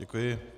Děkuji.